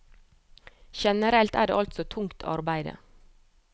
Generelt er det altså tungt arbeide.